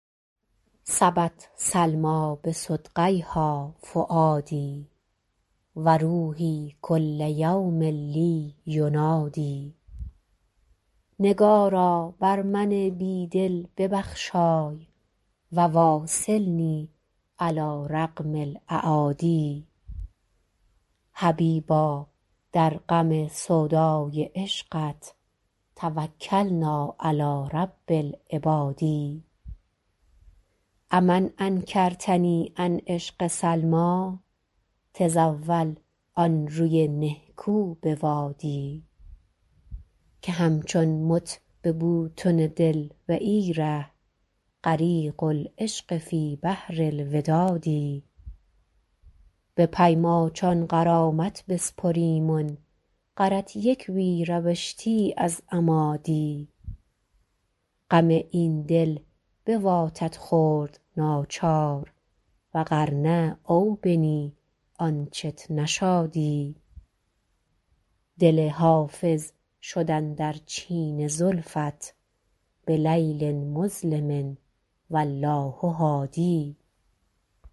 سبت سلمیٰ بصدغیها فؤادي و روحي کل یوم لي ینادی نگارا بر من بی دل ببخشای و واصلني علی رغم الأعادي حبیبا در غم سودای عشقت توکلنا علی رب العباد أ من انکرتني عن عشق سلمیٰ تزاول آن روی نهکو بوادی که همچون مت به بوتن دل و ای ره غریق العشق فی بحر الوداد به پی ماچان غرامت بسپریمن غرت یک وی روشتی از اما دی غم این دل بواتت خورد ناچار و غر نه او بنی آنچت نشادی دل حافظ شد اندر چین زلفت بلیل مظلم و الله هادی